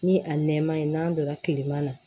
Ni a nɛma ye n'an donna kilema na